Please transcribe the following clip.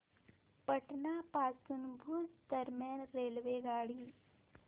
पाटण पासून भुज दरम्यान रेल्वेगाडी